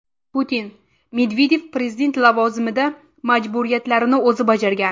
Putin: Medvedev prezident lavozimida majburiyatlarini o‘zi bajargan.